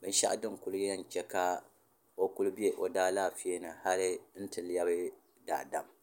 ka shɛli o kuli bɛ o daalɛƒɛzugu hali n ti lɛbi daadam